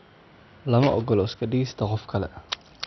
Lama oggola iska dhigista qof kale.